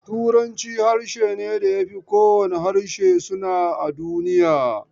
Turanci harshe ne da ya fi kowane harshe suna a duniya.